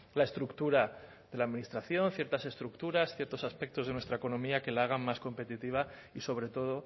la estructura de la administración ciertas estructuras ciertos aspectos de nuestra economía que la hagan más competitiva y sobre todo